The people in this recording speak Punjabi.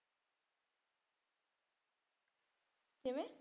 ਕਿਵੇਂ